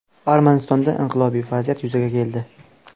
Armanistonda inqilobiy vaziyat yuzaga keldi.